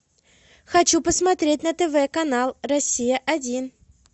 хочу посмотреть на тв канал россия один